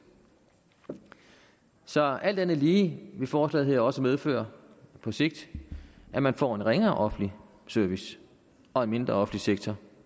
så alt andet lige vil forslaget her også medføre på sigt at man får en ringere offentlig service og en mindre offentlig sektor